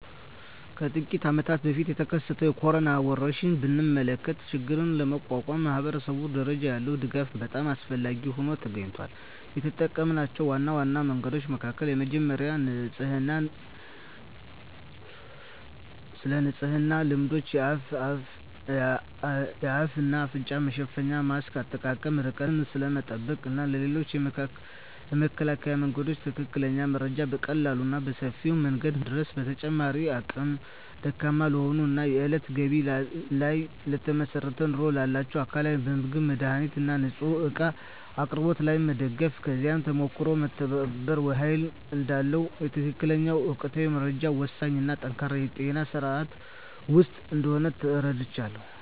ከጥቂት አመታት በፊት የተከሰተውን የኮሮና ወረርሽኝ ብንመለከ ችግሩን ለመቋቋም ማኅበረሰብ ደረጃ ያለ ድጋፍ በጣም አስፈላጊ ሆኖ ተገኝቷል። የተጠምናቸው ዋና ዋና መንገዶች መካከል የመጀመሪያው ስለንጽህና ልማዶች፣ የአፍ እና አፍንጫ መሸፈኛ ማስክ አጠቃቀም፣ ርቀትን ስለመጠበቅ እና ስለ ሌሎችም የመከላከያ መንገዶች ትክክለኛ መረጃ በቀላሉ እና በሰፊው መንገድ ማዳረስ። በተጨማሪም አቅመ ደካማ ለሆኑ እና የእለት ገቢ ላይ ለተመሰረተ ኑሮ ላላቸው አካላት በምግብ፣ መድሃኒት እና ንፅህና እቃ አቅርቦት ላይ መደገፍ። ከዚህ ተሞክሮም መተባበር ኃይል እዳለው፣ የትክክለኛ እና ወቅታዊ መረጃ ወሳኝነት እና ጠንካራ የጤና ስርዓት ወሳኝ እንደሆነ ተረድቻለሁ።